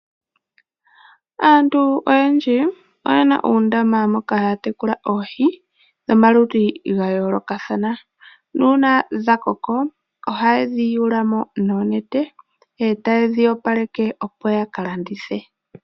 Aantu oyendji oye na uundama moka haya tekula oohi dhomaludhi ga yoolokathana nuuna dha koko ohaye dhi yulu mo noonete e taye dhi opaleke, opo ya ka landithe.